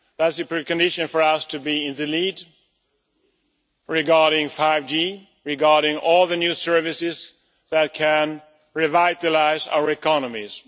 a pre condition for us to be in the lead regarding 5G regarding all the new services that can revitalise our economies.